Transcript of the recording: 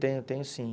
Tenho, tenho sim.